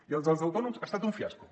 i el dels els autònoms ha estat un fiasco